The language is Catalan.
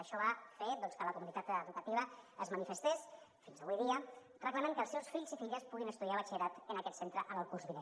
això va fer doncs que la comunitat educativa es manifestés fins avui dia reclamant que els seus fills i filles puguin estudiar batxillerat en aquest centre el curs vinent